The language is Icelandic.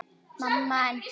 Og við blésum þetta af.